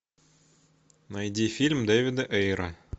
найди фильм дэвида эйра